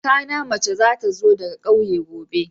Kakana na mace za ta zo daga kauye gobe.